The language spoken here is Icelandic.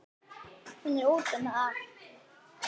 Hún er úti um allt.